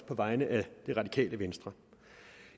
på vegne af det radikale venstre